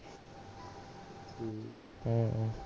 ਹਮ ਹਾਂ